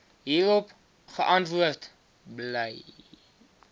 hierop geantwoord bl